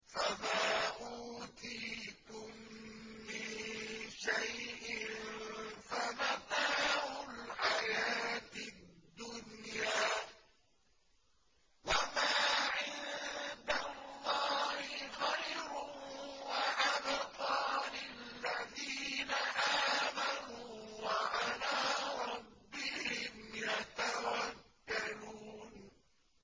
فَمَا أُوتِيتُم مِّن شَيْءٍ فَمَتَاعُ الْحَيَاةِ الدُّنْيَا ۖ وَمَا عِندَ اللَّهِ خَيْرٌ وَأَبْقَىٰ لِلَّذِينَ آمَنُوا وَعَلَىٰ رَبِّهِمْ يَتَوَكَّلُونَ